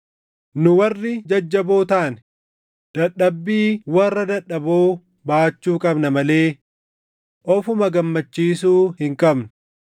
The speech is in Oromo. Nu warri jajjaboo taane, dadhabbii warra dadhaboo baachuu qabna malee ofuma gammachiisuu hin qabnu.